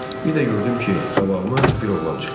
Bir də gördüm ki, qabağıma bir oğlan çıxdı.